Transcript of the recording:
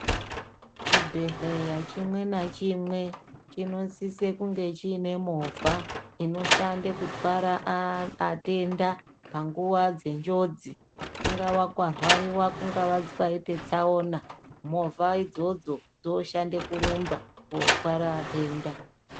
Chinhedhleya chimwe nachimwe chinosise kunge chine movha inosise kutware aa atenda panguwa dzenjOdzi kungaa kwarwariwa kungaa kwaite tsaona movha idzodzo dzinoshande kurumba kotware atenda.